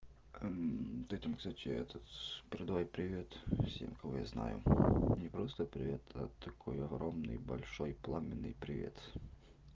ты этому кстати этот с передавай привет всем кого я знаю мне просто привет а такой огромный большой пламенный привет